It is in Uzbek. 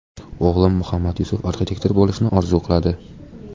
O‘g‘lim Muhammadyusuf arxitektor bo‘lishni orzu qiladi.